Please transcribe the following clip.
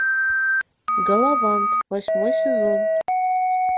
галавант восьмой сезон